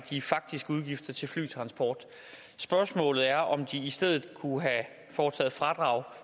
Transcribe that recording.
de faktiske udgifter til flytransport spørgsmålet er om de i stedet kunne have foretaget fradrag